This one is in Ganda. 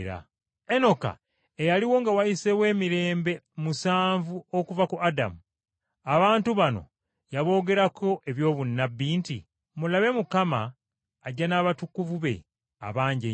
Enoka eyaliwo nga wayiseewo emirembe musanvu okuva ku Adamu, abantu bano yaboogerako eby’obunnabbi nti, “Mulabe Mukama ajja n’abatukuvu be abangi ennyo.